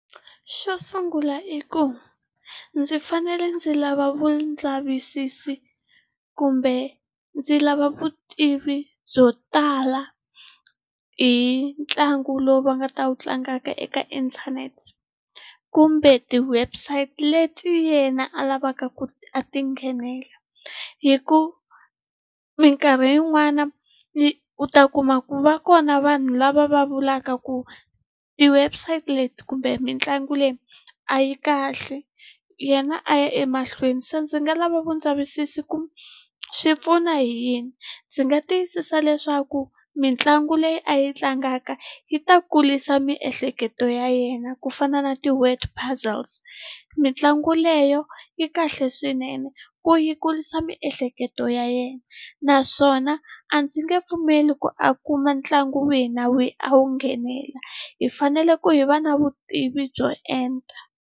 Xo sungula i ku ndzi fanele ndzi lava kumbe ndzi lava vutivi byo tala hi ntlangu lowu va nga ta wu tlangakaka eka internet kumbe ti-website leti yena alavaka ku a ti nghenela hi ku minkarhi yin'wana u ta kuma ku va kona vanhu lava va vulaka ku ti-website leti kumbe mitlangu leyi a yi kahle yena a ya emahlweni se ndzi nga lava ku swi pfuna hi yini ndzi nga tiyisisa leswaku mitlangu leyi a yi tlangaka yi ta kurisa miehleketo ya yena ku fana na ti-word puzzles mitlangu leyo yi kahle swinene ku yi kurisa miehleketo ya yena naswona a ndzi nge pfumeli ku a kuma ntlangu wihi na wihi a wu nghenela hi fanele ku hi va na vutivi byo enta.